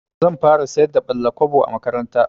Zan fara sayar da ɓalla-kwabo a makaranta.